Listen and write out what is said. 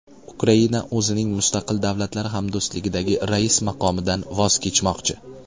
Ukraina o‘zining Mustaqil Davlatlar Hamdo‘stligidagi rais maqomidan voz kechmoqchi.